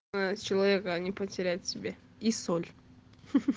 человека не потерять себе и соль